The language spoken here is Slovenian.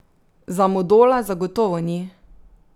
Za Modola zagotovo ni.